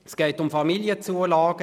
Es geht um Familienzulagen.